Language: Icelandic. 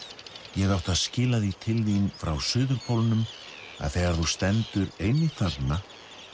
ég átti að skila því til þín frá suðurpólnum að þegar þú stendur einmitt þarna